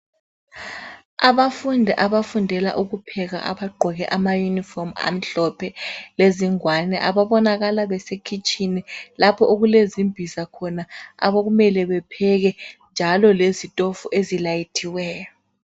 Abafundi abafundela ukupheka abagqoke amayunifomu amhlophe lezingwane ababonakala besekhitshini lapho okulezimbiza khona okumele bepheke njalo lezitofu ezilayithiweyo